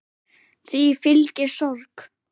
Því fylgi sorg.